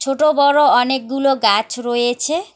ছোট বড় অনেকগুলো গাছ রয়েছে।